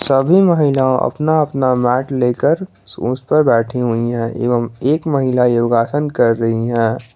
सभी महिलाओं अपना अपना मैट लेकर उस पर बैठी हुई हैं एवं एक महिला योगासन कर रही है।